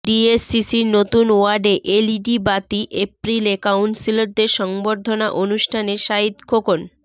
ডিএসসিসির নতুন ওয়ার্ডে এলইডি বাতি এপ্রিলে কাউন্সিলরদের সংবর্ধনা অনুষ্ঠানে সাঈদ খোকন